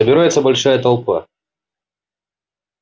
собирается большая толпа